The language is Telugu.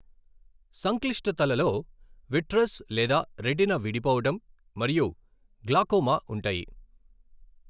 సంక్లిష్టతలలో విట్రస్ లేదా రెటీనా విడిపోవడం, మరియు గ్లాకోమా ఉంటాయి.